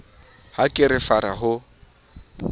ha ke re fara ho